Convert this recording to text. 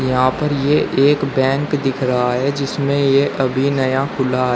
यहां पे ये एक बैंक दिख रहा है जिसमें ये अभी नया खुला है।